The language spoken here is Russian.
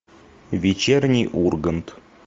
вечерний ургант